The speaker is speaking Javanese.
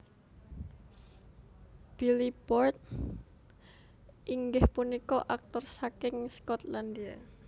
Billy Boyd inggih punika aktor saking Skotlandia